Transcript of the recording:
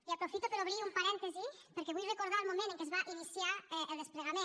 i aprofito per obrir un parèntesi perquè vull recordar el moment en què es va iniciar el desplegament